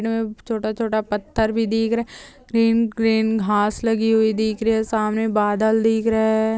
छोटा-छोटा पत्थर भी दीख रहा है ग्रीन ग्रीन घास लगी हुई दीख रही है सामने बादल दिख रहे है।